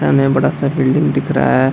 सामने बड़ा सा बिल्डिंग दिख रहा है।